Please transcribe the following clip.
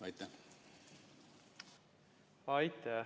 Aitäh!